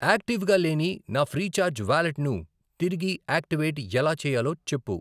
యాక్టివ్గా లేని నా ఫ్రీచార్జ్ వాలెట్ను తిరిగి యాక్టివేట్ ఎలా చేయాలో చెప్పు.